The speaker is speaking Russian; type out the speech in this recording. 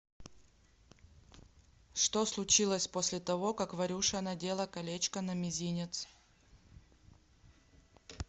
что случилось после того как варюша надела колечко на мизинец